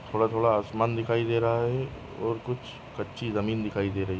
थोडा थोडा आसमान दिखाई दे रहा हैं और कुछ कच्ची जमीन दिखाई दे रही।